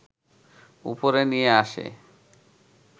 উপরে নিয়ে আসে